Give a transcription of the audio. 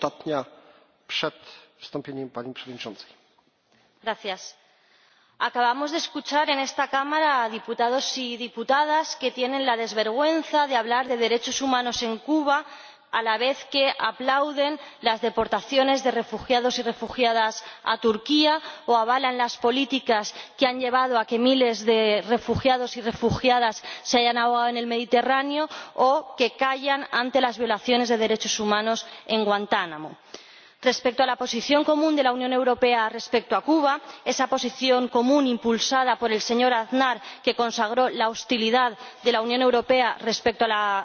Señor Presidente, acabamos de escuchar en esta Cámara a diputados y diputadas que tienen la desvergüenza de hablar de derechos humanos en Cuba a la vez que aplauden las deportaciones de refugiados y refugiadas a Turquía, o avalan las políticas que han llevado a que miles de refugiados y refugiadas se hayan ahogado en el Mediterráneo, o callan ante las violaciones de derechos humanos en Guantánamo. Respecto a la Posición Común de la Unión Europea sobre Cuba, esa Posición Común impulsada por el señor Aznar, que consagró la hostilidad de la Unión Europea respecto a la República de Cuba,